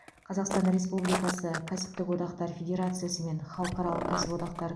қазақстан республикасы кәсіптік одақтар федерациясы мен халықаралық кәсіподақтар